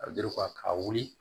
A ka wuli